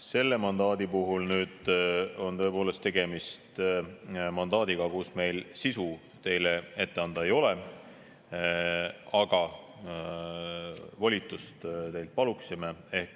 Selle mandaadi puhul on tõepoolest tegemist mandaadiga, kus meil sisu teile ette anda ei ole, aga volitust teilt paluksime.